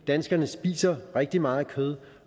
danskerne spiser rigtig meget kød